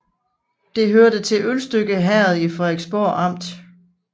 Det hørte til Ølstykke Herred i Frederiksborg Amt